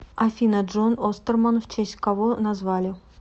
афина джон остерман в честь кого назвали